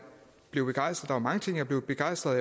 blev begejstret var mange ting jeg blev begejstret